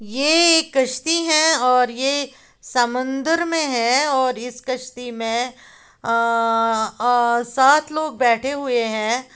ये एक कश्ती है और ये समंदर में है और इस कश्ती में अ अ सात लोग बैठे हुए हैं।